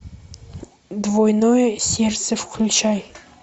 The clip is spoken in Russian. двойное сердце включай